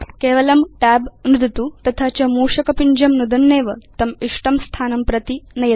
केवलं tab नुदतु तथा च मूषक पिञ्जं नुदन्नेव तम् इष्टं स्थानं प्रति नयतु